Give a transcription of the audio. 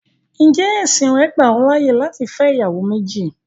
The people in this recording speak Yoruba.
Ǹjẹ́ ẹ̀sìn rẹ́ gbà ọ láyé láti fẹ́ ìyàwó méjì?